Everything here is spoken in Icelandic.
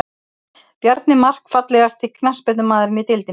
Bjarni Mark Fallegasti knattspyrnumaðurinn í deildinni?